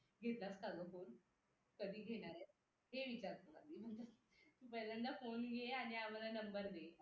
घेतलास का ग फोन कधी घेणारे हे विचारतात आधी पहिल्यांदा फोन घे आणि आम्हाला नंबर दे